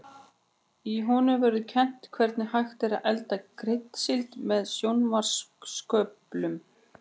Í honum verður kennt hvernig hægt er að elda kryddsíld með sjónvarpsköplum.